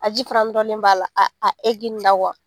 A ji fana nɔrɔlen b'a la , a a na